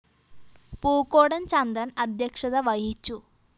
പൂക്കോടന്‍ ചന്ദ്രന്‍ അധ്യക്ഷത വഹിച്ചു